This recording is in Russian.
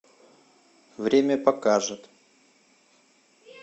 время покажет